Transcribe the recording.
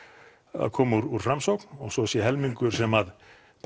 að koma úr Framsókn og svo sé helmingur sem